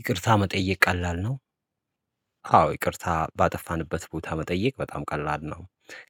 ይቅርታ መጠየቅ ቀላል ነው። አዎ ይቅርታ ባጠፋንበት ቦታ መጠየቅ በጣም ቀላል ነው።